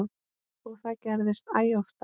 Og það gerðist æ oftar.